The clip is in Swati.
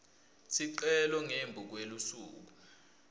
sicelo ngembi kwelusuku